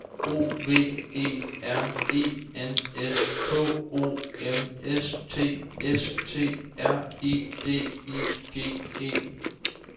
O V E R E N S K O M S T S T R I D I G E